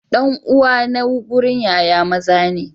Dan uwa na gurin Yaya maza ne.